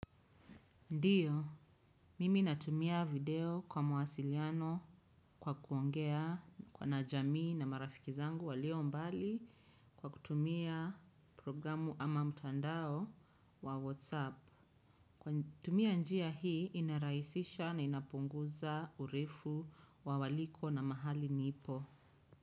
Ndiyo, mimi natumia video kwa mausiliano kwa kuongea kwa na jamii na marafiki zangu walio mbali kwa kutumia programu ama mutandao wa Whatsapp. Kwa tumia njia hii inaraisisha na inapunguza urefu wa waliko na mahali nipo.